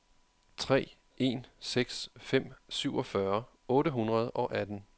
tre en seks fem syvogfyrre otte hundrede og atten